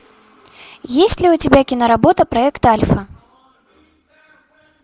есть ли у тебя киноработа проект альфа